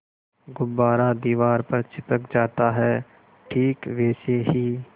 गुब्बारा दीवार पर चिपक जाता है ठीक वैसे ही